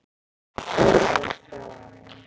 Hann fór frá honum.